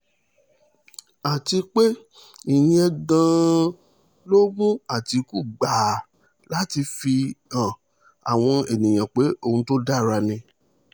àti pé ìyẹn gan-an ló mú àtìkù gbà á láti fi han àwọn èèyàn pé òun tó dára ni